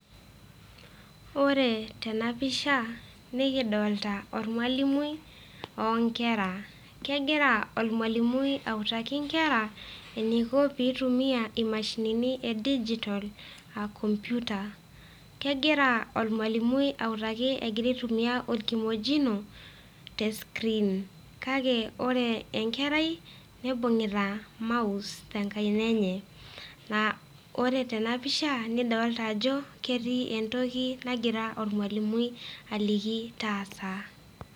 ore tena pisha, nikidolita ormalimui onkera. kegira ormalimui autaki nkera eneiko pee eitumia imashinini e digital aa computer .kegira olmalimui autaki egira aitumia orkimojino te screen .kake ore enkerai, nibung'ita mouse tenkaina enye. ore tena pisha nidolta ajo ketii etoki nagira ormalimui aliki taata.